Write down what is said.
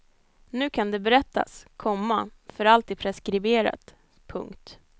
Nu kan det berättas, komma för allt är preskriberat. punkt